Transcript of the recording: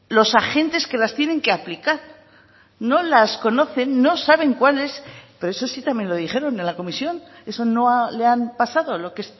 los agentes que las tienen que aplicar no las conocen no saben cuál es pero eso sí también lo dijeron en la comisión eso no le han pasado lo que